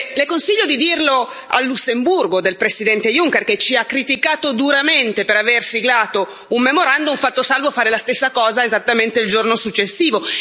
Le consiglio di dirlo al Lussemburgo del Presidente Juncker, che ci ha criticato duramente per aver siglato un memorandum, fatto salvo fare la stessa cosa esattamente il giorno successivo.